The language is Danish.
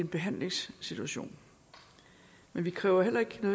behandlingssituation men vi kræver heller ikke